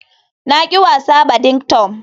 Na ƙi wasa badington.